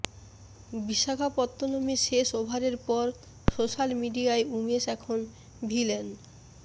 বিশাখাপত্তনমে শেষ ওভারের পর সোশ্যাল মিডিয়ায় উমেশ এখন ভিলেন